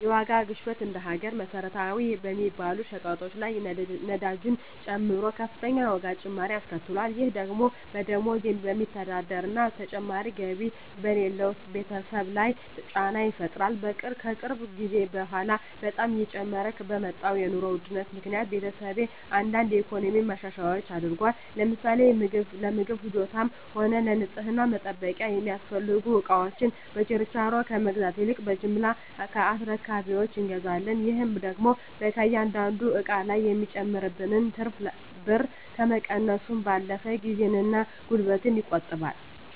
የዋጋ ግሽበት እንደ ሀገር መሰረታዊ በሚባሉ ሸቀጦች ላይ ነዳጅን ጨምሮ ከፍተኛ የዋጋ ጭማሪ አስከትሏል። ይህ ደግሞ በደሞዝ በሚስተዳደር እና ተጨማሪ ገቢ በሌለው ቤተሰብ ላይ ጫና ይፈጥራል። ከቅርብ ጊዜ በኃላ በጣም እየጨመረ በመጣው የኑሮ ውድነት ምክኒያት ቤተሰቤ አንዳንድ የኢኮኖሚ ማሻሻያዎች አድርጓል። ለምሳሌ ለምግብ ፍጆታም ሆነ ለንፅህና መጠበቂያ የሚያስፈልጉ እቃወችን በችርቻሮ ከመግዛት ይልቅ በጅምላ ከአስረካቢወች እንገዛለን። ይህ ደግሞ ከእያንዳንዱ እቃ ላይ የሚጨመርብንን ትርፍ ብር ከመቀነሱም ባለፈ ጊዜን እና ጉልበትን ይቆጥባል።